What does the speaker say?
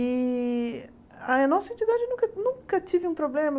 E a nossa entidade nunca nunca tive um problema.